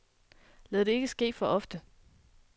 Lad det ikke ske for ofte.